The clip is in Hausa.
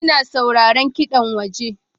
Ina sauraron kiɗan waje.